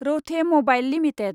रौथे mobile limited